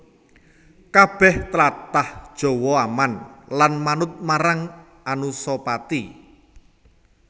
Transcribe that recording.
Kabèh tlatah Jawa aman lan manut marang Anusapati